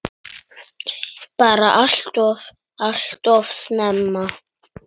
Bara alltof, alltof snemma.